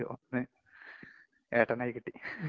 അതില് ഒന്ന് ഏട്ടനായി കിട്ടി.